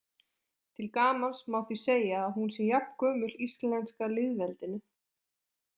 Til gamans má því segja að hún sé jafngömul íslenska lýðveldinu.